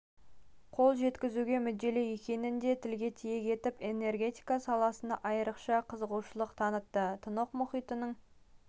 қол жеткізуге мүдделі екенін де тілге тиек етіп энергетика саласына айрықша қызығушылық танытты тынық мұхитының